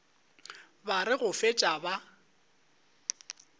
ba re go fetša ba